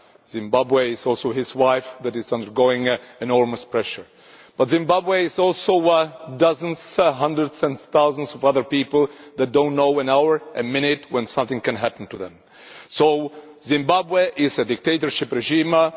Zimbabwe is also his wife, who is undergoing enormous pressure. But Zimbabwe is also dozens, hundreds and thousands of other people, who do not know for an hour, a minute, when something can happen to them. So Zimbabwe is a dictatorship regime.